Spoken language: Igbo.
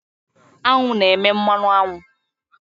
Aṅụ na-eme mmanụ aṅụ.